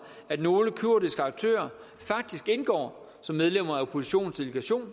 at nogle kurdiske aktører faktisk indgår som medlemmer af oppositionens delegation